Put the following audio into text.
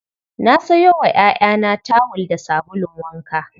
Na sayo wa 'ya'yana tawul da sabulun wanka.